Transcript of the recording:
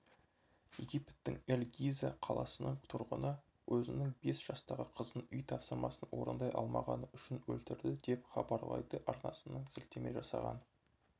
египеттің эль-гиза қаласының тұрғыны өзінің бес жастағы қызын үй тапсырмасын орындай алмағаны үшін өлтірді деп хабарлайды арнасына сілтеме жасаған